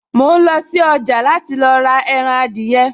Mò ń lọ sí ọjà láti rà ẹran adìyẹ